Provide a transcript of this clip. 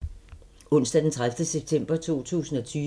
Onsdag d. 30. september 2020